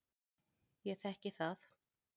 Ég þekki það.